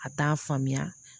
A t'a faamuya